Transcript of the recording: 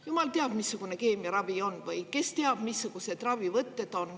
Jumal teab, missugune keemiaravi siis on või kes teab, missugused ravivõtted on.